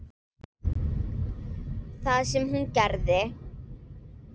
Það sem hún gerði: